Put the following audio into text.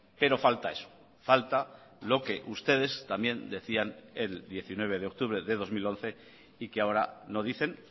pero falta eso falta lo que ustedes también decían el diecinueve de octubre de dos mil once y que ahora no dicen